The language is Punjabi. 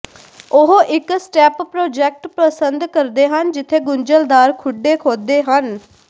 ਉਹ ਇੱਕ ਸਟੈਪ ਪ੍ਰਜੈਕਟ ਪਸੰਦ ਕਰਦੇ ਹਨ ਜਿੱਥੇ ਗੁੰਝਲਦਾਰ ਖੁੱਡੇ ਖੋਦੇ ਹਨ